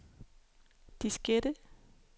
diskette